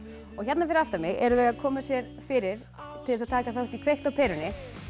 hérna fyrir aftan mig eru þau að koma sér fyrir til þess að taka þátt í kveikt á perunni